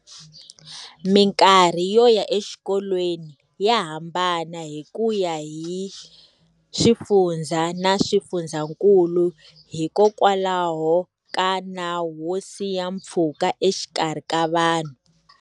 Mikarhi yo ya exikolweni ya hambana hi ku ya hi swifundza na swifundzankulu hikokwalaho ka nawu wo siya pfhuka exikarhi ka vanhu.